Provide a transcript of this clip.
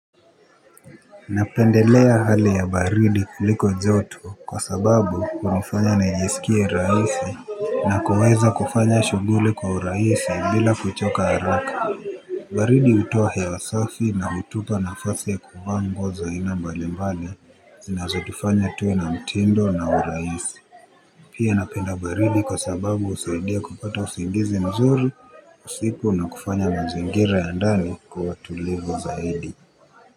Napendelea hali ya baridi kuliko joto kwa sababu hunifanya naijisikia raisi. Na kuweza kufanya shuguli kwa urahisi bila kuchoka haraka. Baridi utowa hewa safi na hutupa nafasi ya kuvaa nguo za aina mbali mbali zinazo tufanya tuwe na mtindo na uraisi. Pia napenda baridi kwa sababu usaidia kupata usingizi mzuri usiku na kufanya mazingira ya ndani kuwa tulivu zaidi.